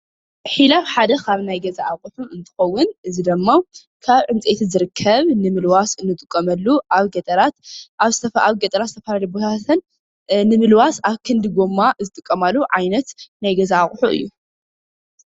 ሒላብ ሓደ ካብ ናይ ገዛ ኣቁሑት እንትከዉን እዚ ደሞ ካብ ዕንጨይቲ ዝርከብ ንምልዋስ ንጥቀመሉ ኣብ ገጠራት ኣብ ዝተፈ ኣብ ዝተፈላለየ ቦታታትን ንምልዋስ ኣብ ክንዲ ጎማ ዝጥቀማሉ ዓይነት ናይ ገዛ ኣቁሑ እዩ።